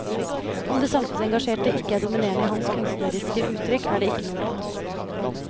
Om det samfunnsengasjerte ikke er dominerende i hans kunstneriske uttrykk, er det ikke noe nytt.